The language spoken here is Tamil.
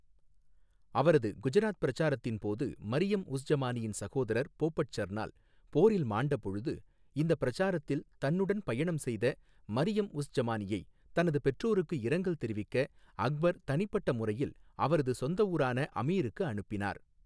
அவரது குஜராத் பிரச்சாரத்தின் போது மரியம் உஸ் ஜமானியின் சகோதரர் போபட் சர்னால் போரில் மாண்டபொழுது, இந்த பிரச்சாரத்தில் தன்னுடன் பயணம் செய்த மரியம் உஸ் ஜமானியை தனது பெற்றோருக்கு இரங்கல் தெரிவிக்க அக்பர் தனிப்பட்ட முறையில் அவரது சொந்த ஊரான அமீருக்கு அனுப்பினார்.